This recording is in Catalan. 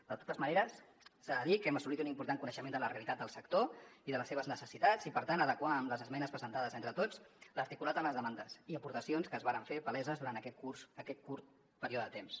de totes maneres s’ha de dir que hem assolit un important coneixement de la realitat del sector i de les seves necessitats i per tant hem pogut adequar amb les esmenes presentades entre tots l’articulat a les demandes i aportacions que es varen fer paleses durant aquest curt període de temps